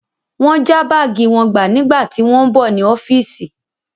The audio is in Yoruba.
Wọ́n já báàgì wọn gbà nígbà tí wọ́n ń bọ̀ ní ọ́fíìsì.